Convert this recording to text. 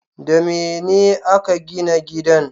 Da mene a ka gina gidan?